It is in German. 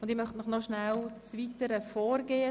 Zuerst erläutere ich Ihnen das weitere Vorgehen: